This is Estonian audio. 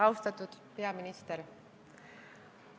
Austatud peaminister!